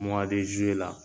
Muwa de zuwe la